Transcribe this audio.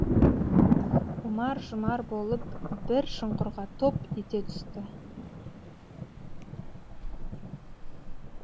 ұмар жұмар болып бір шұңқырға топ ете түсті